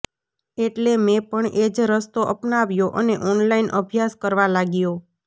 એટલે મે પણ એજ રસ્તો અપનાવ્યો અને ઓનલાઈન અભ્યાસ કરવા લાગ્યો